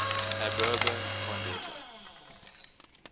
ab urbe condita